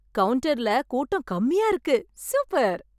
கவுன்டர்ல கூட்டம் கம்மியா இருக்கு. சூப்பர்!